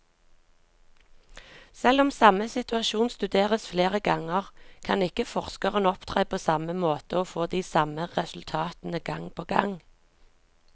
Selv om samme situasjon studeres flere ganger, kan ikke forskeren opptre på samme måte og få de samme resultatene gang på gang.